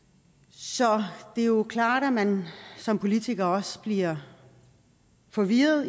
så det er jo klart at man som politiker også bliver forvirret